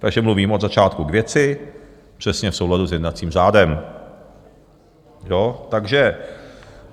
Takže mluvím od začátku k věci přesně v souladu s jednacím řádem.